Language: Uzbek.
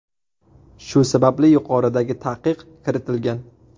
Shu sababli yuqoridagi taqiq kiritilgan.